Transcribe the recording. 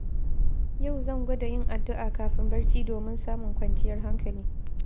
Yau zan gwada yin addu’a kafin barci domin samun kwanciyar hankali.